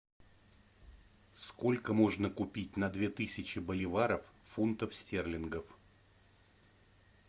сколько можно купить на две тысячи боливаров фунтов стерлингов